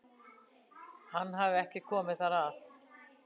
Hann hafi ekki komið þar að